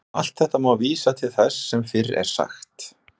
Um allt þetta má vísa til þess sem fyrr er sagt.